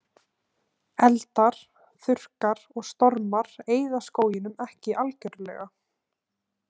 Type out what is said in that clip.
Eldar, þurrkar og stormar eyða skóginum ekki algjörlega.